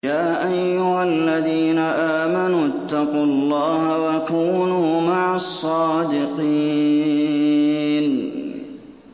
يَا أَيُّهَا الَّذِينَ آمَنُوا اتَّقُوا اللَّهَ وَكُونُوا مَعَ الصَّادِقِينَ